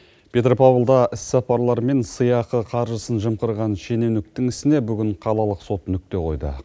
петропавлда іс сапарлар мен сыйақы қаржысын жымқырған шенеуніктің ісіне бүгін қалалық сот нүкте қойды